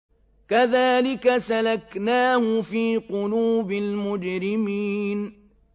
كَذَٰلِكَ سَلَكْنَاهُ فِي قُلُوبِ الْمُجْرِمِينَ